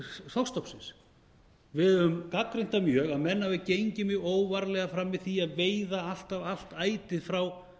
stærð þorskstofnsins við höfum gagnrýnt það mjög að menn hafi gengið mjög óvarlega fram í því að veiða alltaf allt ætið frá